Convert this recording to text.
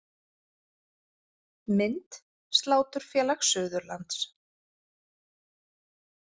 Mynd: Sláturfélag Suðurlands